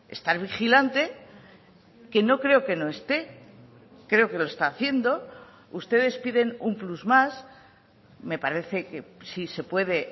estar vigilante que no creo que no esté creo que lo está haciendo ustedes piden un plus más me parece que sí se puede